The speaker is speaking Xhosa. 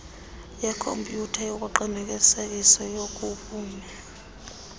yekhompyutha yokuqinisekiswa kobume